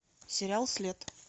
сериал след